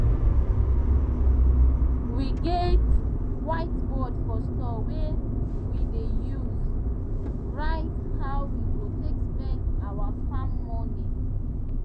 we get whiteboard for store wey we dey use write how we go take spend our farm money